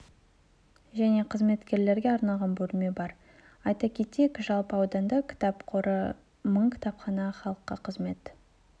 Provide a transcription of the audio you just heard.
және қызметкерлерге арналған бөлме бар айта кетейік жалпы ауданда кітап қоры мың кітапхана халыққа қызмет